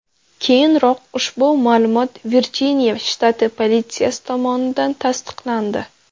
Keyinroq ushbu ma’lumot Virjiniya shtati politsiyasi tomonidan tasdiqlandi.